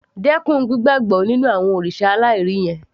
Dẹ́kun gbígbàbọ́ nínú àwọn òrìṣà aláìrí yẹn